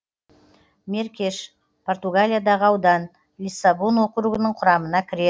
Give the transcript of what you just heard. меркеш португалиядағы аудан лиссабон округінің құрамына кіреді